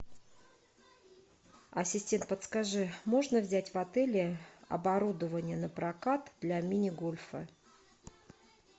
ассистент подскажи можно взять в отеле оборудование на прокат для мини гольфа